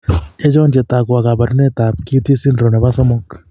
Achon chetogu ak kaborunoik ab long QT syndrome nebo somok?